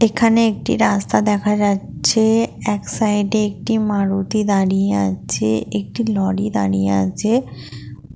এখানে একটি রাস্তা দেখা যাচ্ছে এক সাইডে একটি মারুতি দাঁড়িয়ে আছে একটি লরি দাঁড়িয়ে আছে।